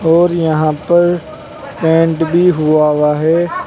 और यहां पर पेंट भी हुआ हुआ है।